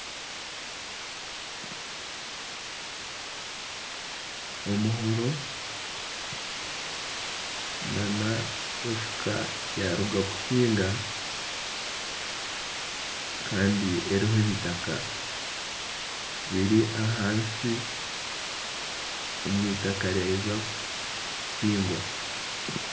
Omuhoro na nefuka yaruga kuhiinga Kandi eriho ebitaka biri ahansi omwitaka ryaheza kuhingwa.